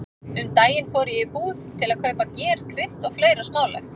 Um daginn fór ég í búð til að kaupa ger, krydd og fleira smálegt.